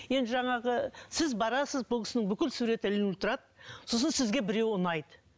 енді жаңағы сіз барасыз бұл кісінің бүкіл суреті ілінулі тұрады сосын сізге біреуі ұнайды